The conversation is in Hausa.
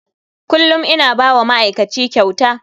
Kullum ina ba wa ma'aikaci kyauta.